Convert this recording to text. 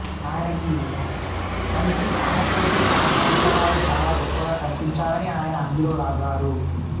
ఆయనకి కంచికామకోటి ఆచార్యులవారు చాలా గొప్పగా కనిపించారని ఆయన అందులోవ్రాసారు